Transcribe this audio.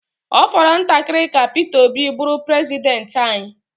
Ọ fọrọ ntakịrị ka Peter Obi bụrụ prezidenti anyị.